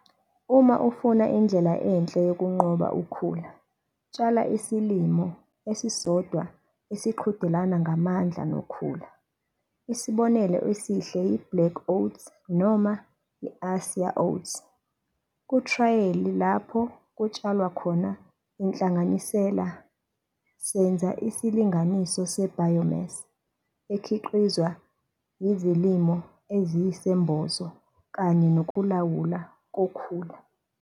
Uma ufuna indlela enhle yokunqoba ukhula, tshala isilimo esisodwa esiqhudelana ngamandla nokhula. Isibonelo esihle yi-black oats noma i-asaia oats. Kuthrayali lapho kutshalwa khona inhlanganisela, senza isilinganiso se-biomass ekhiqizwa yizilimo eziyisembozo kanye nokulawulwa kokhula.